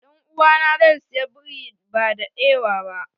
Dan'uwa na zai saya biri ba da ewa ba.